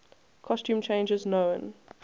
costume changes known